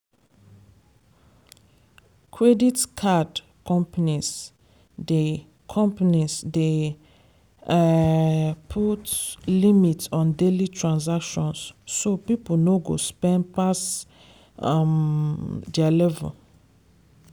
credit card companies dey companies dey um put limit on daily transactions so people no go spend pass um their level.